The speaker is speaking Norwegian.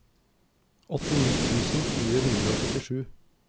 åttini tusen fire hundre og førtisju